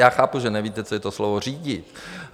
Já chápu, že nevíte, co je to slovo řídit.